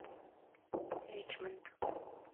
ричмонд